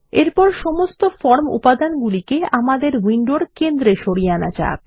এরপর সমস্ত ফর্ম উপাদান আমাদের উইন্ডোর কেন্দ্রে সরিয়ে আনা যাক